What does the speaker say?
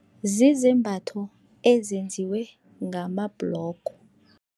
Zizembatho ezenziwe ngamabhlogo.